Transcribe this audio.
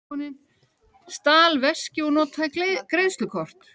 Stal veski og notaði greiðslukort